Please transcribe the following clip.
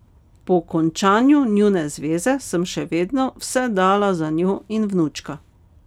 Po končanju njune zveze sem še vedno vse dala za njo in vnučka.